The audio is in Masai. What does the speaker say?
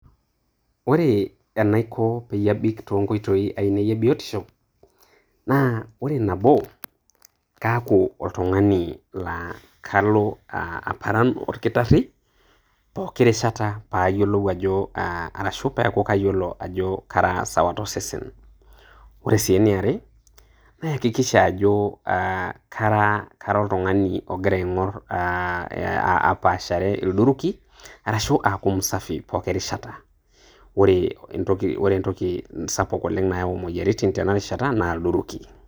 Ore enaiko pee abik too nkoitoi ainei e biotisho. Naa ore, nabo naa kaaku oltung`ani laa kalo aparan olkitarri pooki rishata, pee ayiolou ajo aa arashu paayiolou ajo kara sawa to sesen. Ore sii eniare kayakikisha ajo kara aa kara oltung`ani ogira aigorr aa apaashare ilduruki arashu aaku msafi poki rishata. Ore entoki sapuk oleng nayau motiaritin tena rishata naa ilduruki.